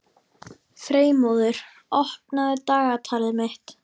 Freymóður, opnaðu dagatalið mitt.